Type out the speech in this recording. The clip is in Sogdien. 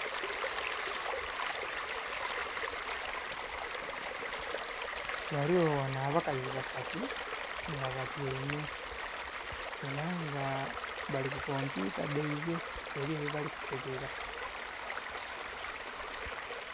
Ghaligho ghano abakazi basatu nga batyaime, era nga bali ku kompyuta dhaibwe eliyo byebali kukebera